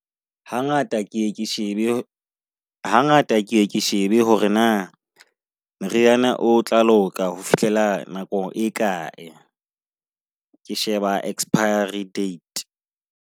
Hangata keye ke shebe hangata keye ke shebe hore na meriana o tla loka ho fihlela nako e kae. Ke sheba expiry date.